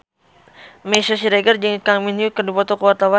Meisya Siregar jeung Kang Min Hyuk keur dipoto ku wartawan